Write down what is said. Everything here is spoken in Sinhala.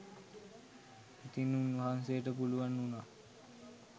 ඉතින් උන්වහන්සේට පුළුවන් වුණා